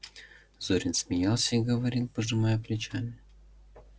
зурин смеялся и говорил пожимая плечами